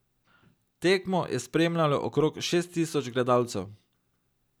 Tekmo je spremljalo okrog šest tisoč gledalcev.